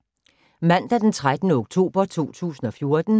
Mandag d. 13. oktober 2014